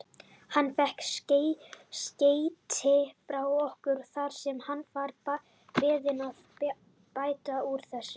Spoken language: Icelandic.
Hann fékk skeyti frá okkur þar sem hann var beðinn að bæta úr þessu.